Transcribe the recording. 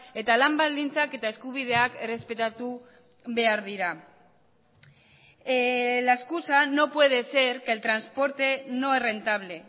eta lan baldintzak eta eskubideak errespetatu behar dira la excusa no puede ser que el transporte no es rentable